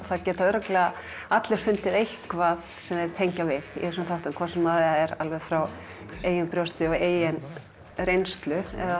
það geta örugglega allir fundið eitthvað sem þeir tengja við í þessum þáttum hvort sem það er frá eigin brjósti eða eigin reynslu eða